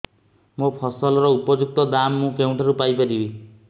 ମୋ ଫସଲର ଉପଯୁକ୍ତ ଦାମ୍ ମୁଁ କେଉଁଠାରୁ ପାଇ ପାରିବି